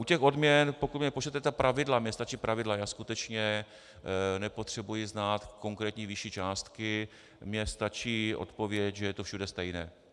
U těch odměn, pokud mi pošlete ta pravidla, mně stačí pravidla, já skutečně nepotřebuji znát konkrétní výši částky, mně stačí odpověď, že je to všude stejné.